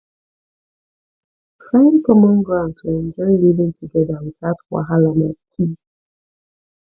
find common ground to enjoy living together without wahala na key